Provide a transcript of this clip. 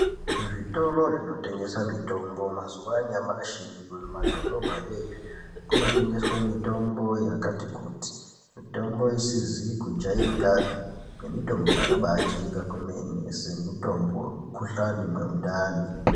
Muzvitoro zvinotengesa mitombo mazuwa anyamashi kunyanya kumadhorobha yoyo, kunotengeswa mitombo yakati kuti, mitombo isizi kujaerekapi nemitombo yakabaa jaereka kwemene semitombo yemukhuhlani nemundani.